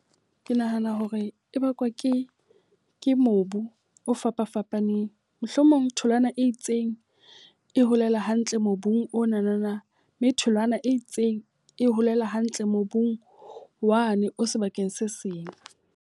Ke nahana hore e bakwa ke ke mobu o fapafapaneng. Mohlomong tholwana e itseng e holela hantle mobung onana. Mme tholwana e itseng e holela hantle mobung wa ne o sebakeng se seng.